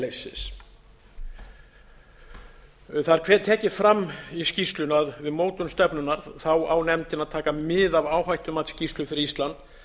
herleysis það er tekið fram í skýrslunni að við mótun stefnunnar á nefndin að taka mið af áhættumatsskýrslu fyrir ísland